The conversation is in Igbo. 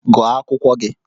Gụọ akwụkwọ gị!